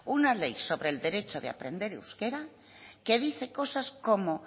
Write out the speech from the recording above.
una ley sobre el derecho de aprender euskera que dice cosas como